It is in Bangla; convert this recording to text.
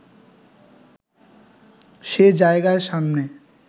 সে জায়গার সামনে